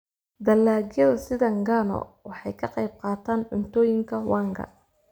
Dalagyada sida ngano waxay ka qayb qaataan cuntooyinka wanga.